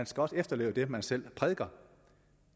skal efterleve det man selv prædiker